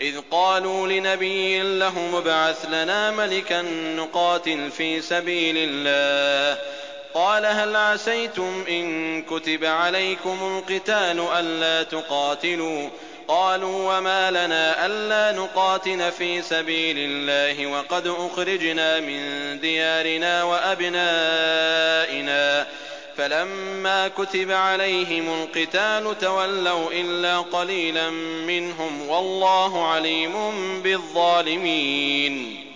إِذْ قَالُوا لِنَبِيٍّ لَّهُمُ ابْعَثْ لَنَا مَلِكًا نُّقَاتِلْ فِي سَبِيلِ اللَّهِ ۖ قَالَ هَلْ عَسَيْتُمْ إِن كُتِبَ عَلَيْكُمُ الْقِتَالُ أَلَّا تُقَاتِلُوا ۖ قَالُوا وَمَا لَنَا أَلَّا نُقَاتِلَ فِي سَبِيلِ اللَّهِ وَقَدْ أُخْرِجْنَا مِن دِيَارِنَا وَأَبْنَائِنَا ۖ فَلَمَّا كُتِبَ عَلَيْهِمُ الْقِتَالُ تَوَلَّوْا إِلَّا قَلِيلًا مِّنْهُمْ ۗ وَاللَّهُ عَلِيمٌ بِالظَّالِمِينَ